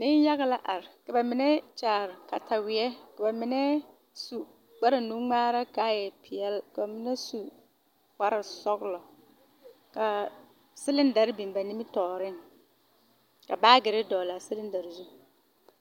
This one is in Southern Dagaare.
Neŋyage la are ka ba mine kyaare kataweɛ ka ba mine su kparwnungmaara kaa nuure e peɛle ka ba mine su kparesɔglɔ kaa siliŋdare biŋ ba nimitooreŋ ka baagirre dɔglaa siliŋdare zu.